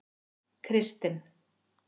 Kristinn